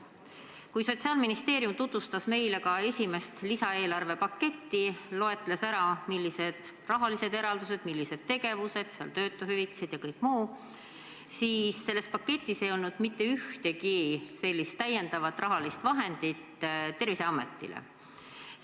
Kui Sotsiaalministeerium tutvustas meile esimest lisaeelarve paketti ning loetles, millised on seal rahalised eraldused, tegevused, töötuhüvitised ja kõik muu, siis selles paketis ei olnud mitte ühtegi täiendavat rahalist vahendit Terviseametile.